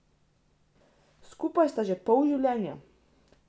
Skupaj sta že pol življenja.